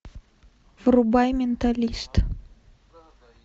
врубай менталист